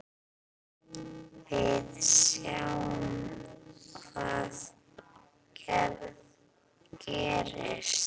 Við sjáum hvað gerist.